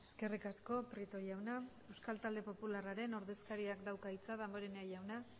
eskerrik asko prieto jauna euskal talde popularraren ordezkariak dauka hitza damborenea jauna